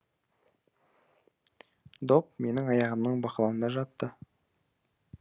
доп менің аяғымның бақылауында жатты